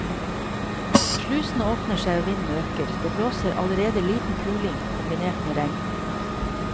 Slusene åpner seg og vinden øker, det blåser allerede liten kuling kombinert med regn.